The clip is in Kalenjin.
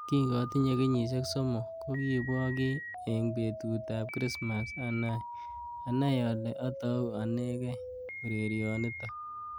Kingatinye kenyishek. somok kokiibwo kiy eng betut ab krismas anai ale atou anegei urerionotok.